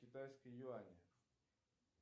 китайские юани